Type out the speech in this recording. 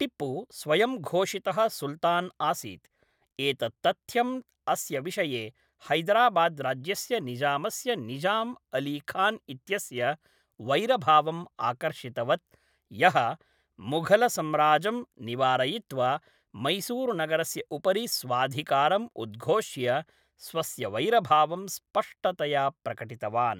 टिप्पु स्वयंघोषितः सुल्तान् आसीत्, एतत् तथ्यम् अस्य विषये हैदराबाद्राज्यस्य निज़ामस्य निज़ाम् अलीखान् इत्यस्य वैरभावम् आकर्षितवत्, यः मुघलसम्राजं निवारयित्वा मैसूरुनगरस्य उपरि स्वाधिकारं उद्घोष्य स्वस्य वैरभावं स्पष्टतया प्रकटितवान्।